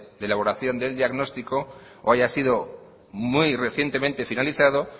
de elaboración del diagnóstico o haya sido muy recientemente finalizado